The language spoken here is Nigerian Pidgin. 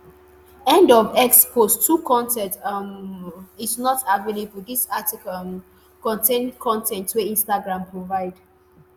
end of x post 2 con ten t um um is not available dis article um contain con ten t wey instagram provide.